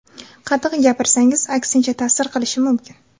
Qattiq gapirsangiz, aksincha ta’sir qilishi mumkin.